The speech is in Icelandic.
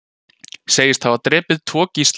Segist hafa drepið tvo gísla